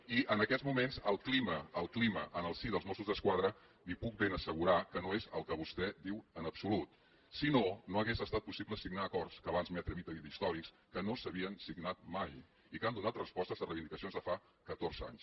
i en aquests moments el clima en el si dels mossos d’esquadra li puc ben assegurar que no és el que vostè diu en absolut si no no hauria estat possible signar acords que abans m’he atrevit a dir d’històrics que no s’havien signat mai i que han donat respostes a reivindicacions de fa catorze anys